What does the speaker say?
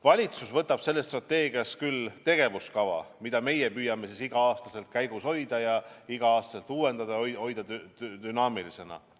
Valitsus võtab sellest strateegiast küll tegevuskava, mida me püüame igal aastal käigus hoida ja igal aastal uuendada, hoida dünaamilisena.